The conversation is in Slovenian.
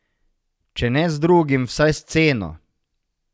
Če ne z drugim, vsaj s ceno.